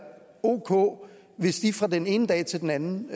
ok hvis de fra den ene dag til den anden